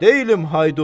Deyiləm haydud.